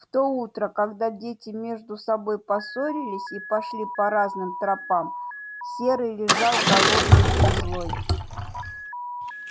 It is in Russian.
в то утро когда дети между собой поссорились и пошли по разным тропам серый лежал голодный и злой